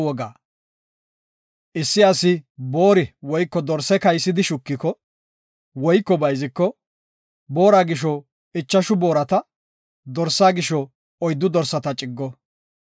“Issi asi boori woyko dorse kaysidi shukiko, woyko bayziko, boora gisho ichashu boorata, dorsaa gisho oyddu dorsata ciggo.